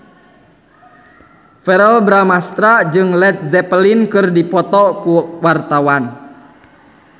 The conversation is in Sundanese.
Verrell Bramastra jeung Led Zeppelin keur dipoto ku wartawan